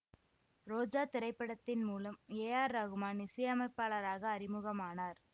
ரோஜா திரைப்படத்தின் மூலம் A R Rahman இசையமைப்பாளராக அறிமுகமானார்